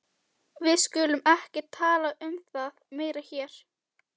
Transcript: Við skulum ekki tala um það meira hér.